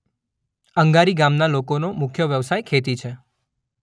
અંગારી ગામના લોકોનો મુખ્ય વ્યવસાય ખેતી છે.